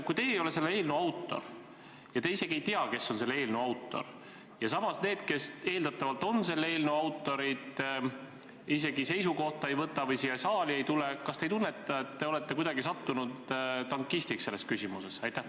Kui teie ei ole selle eelnõu autor ja te ka ei tea, kes on selle eelnõu autor, ja samas need, kes eeldatavalt on selle eelnõu autorid, seisukohta ei võta või siia saali ei tule, siis kas teil pole tunne, et te olete kuidagi sattunud tankistiks selles küsimuses?